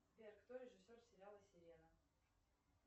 сбер кто режиссер сериала сирена